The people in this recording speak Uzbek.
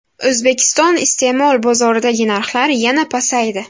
O‘zbekiston iste’mol bozoridagi narxlar yana pasaydi.